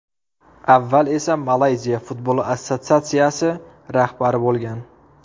Avval esa Malayziya Futbol assotsiatsiyasi rahbari bo‘lgan.